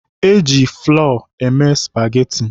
E ji flọ emepụta spageti.